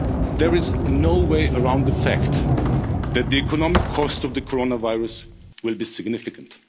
most. There is no way around the fact that the economic cost of the coronavirus will be significant.